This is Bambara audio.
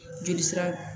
Joli sira